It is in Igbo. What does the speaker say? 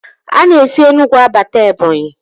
A na-esi Enugwu abata Ebọnyị